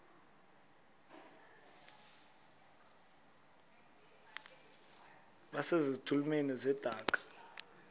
base zitulmeni zedaka